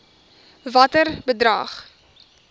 watter bedrag